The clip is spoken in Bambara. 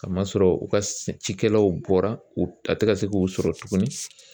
Ka masɔrɔ u ka cikɛlaw bɔra a tɛ ka se k'u sɔrɔ tuguni